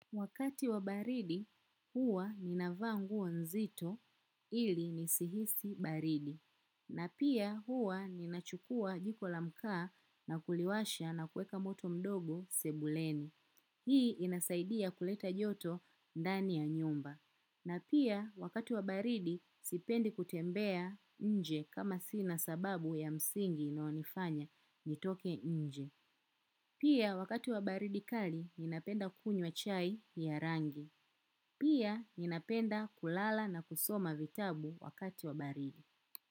Wakati wa baridi, huwa ni navaa nguo nzito ili nisihisi baridi. Na pia huwa ni nachukua jiko lamkaa na kuliwasha na kueka moto mdogo sebuleni. Hii inasaidia kuleta joto ndani ya nyumba. Na pia wakati wa baridi, sipendi kutembea nje kama sina sababu ya msingi na inayonifanya nitoke nje. Pia wakati wa baridi kali ninapenda kunywa wa chai ya rangi. Pia ninapenda kulala na kusoma vitabu wakati wa baridi.